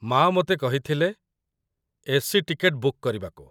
ମା' ମୋତେ କହିଥିଲେ ଏ.ସି. ଟିକେଟ ବୁକ୍ କରିବାକୁ।